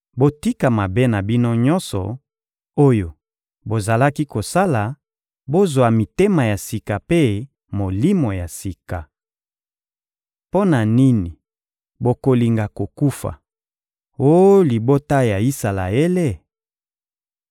Botika mabe na bino nyonso oyo bozalaki kosala; bozwa mitema ya sika mpe molimo ya sika. Mpo na nini bokolinga kokufa, oh libota ya Isalaele?